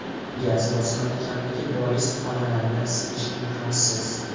Gaz bosimi kamligi bois xonalarni isitish imkonsiz.